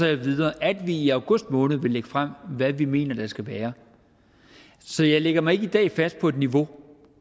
jeg videre at vi i august måned vil lægge frem hvad vi mener der skal være så jeg lægger mig ikke i dag fast på et niveau